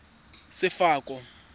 sefako